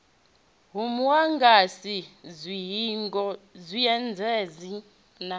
ho muagasi dzihingo zwiendedzi na